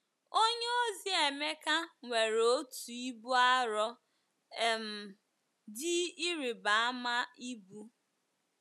Onyeozi Emeka nwere otu ibu arọ um dị ịrịba ama ibu.